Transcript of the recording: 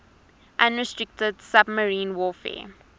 unrestricted submarine warfare